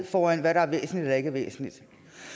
for hvad der er væsentligt ikke er væsentligt